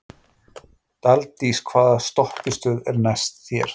Daldís, hvaða stoppistöð er næst mér?